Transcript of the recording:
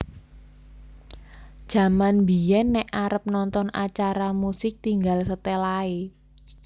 Jaman biyen nek arep nonton acara musik tinggal setel ae